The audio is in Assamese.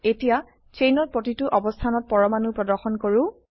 এতিয়া চেইনৰ প্ৰতিটো অবস্থানত পৰমাণু প্ৰদৰ্শন কৰো